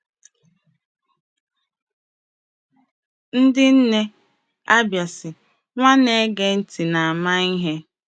Ndị nne Abia sị, “Nwa na-ege ntị na-ama ihe.”